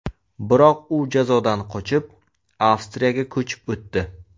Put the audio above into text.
Biroq u jazodan qochib, Avstriyaga ko‘chib o‘tdi.